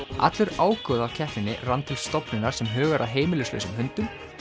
allur ágóði af keppninni rann til stofnunar sem hugar að heimilislausum hundum